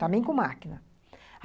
Também com máquina.